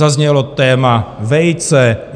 Zaznělo téma vejce.